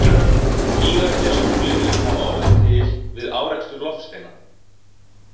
Gígarnir á tunglinu hafa orðið til við árekstur loftsteina.